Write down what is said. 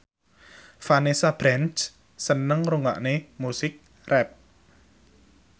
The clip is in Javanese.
Vanessa Branch seneng ngrungokne musik rap